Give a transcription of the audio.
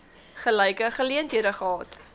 gelyke geleenthede gehad